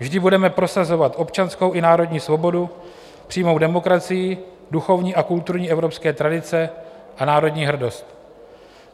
Vždy budeme prosazovat občanskou i národní svobodu, přímou demokracii, duchovní a kulturní evropské tradice a národní hrdost.